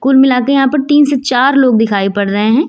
कुल मिला के यहां पर तीन से चार लोग दिखाई पड़ रहे हैं।